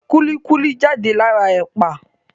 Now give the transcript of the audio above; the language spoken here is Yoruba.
Kúlí kúlí jáde lára Ẹ̀pà